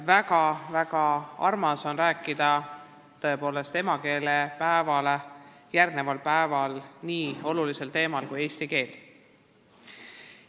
Väga-väga armas on rääkida emakeelepäevale järgneval päeval nii olulisel teemal kui eesti keel.